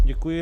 Děkuji.